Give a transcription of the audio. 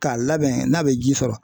K'a labɛn n'a bɛ ji sɔrɔ